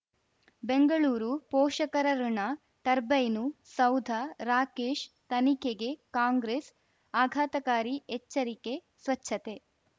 ಬೆಂಗಳೂರು ಪೋಷಕರಋಣ ಟರ್ಬೈನು ಸೌಧ ರಾಕೇಶ್ ತನಿಖೆಗೆ ಕಾಂಗ್ರೆಸ್ ಆಘಾತಕಾರಿ ಎಚ್ಚರಿಕೆ ಸ್ವಚ್ಛತೆ